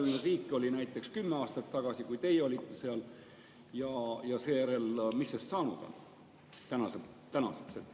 Kui palju oli neid riike näiteks kümme aastat tagasi, kui teie seal olite, ja seejärel, mis on sellest saanud tänaseks?